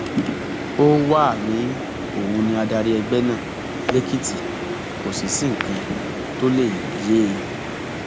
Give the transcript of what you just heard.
ó wàá ní òun ni adarí ẹgbẹ náà lèkìtì kò sì sí nǹkan tó lè yé e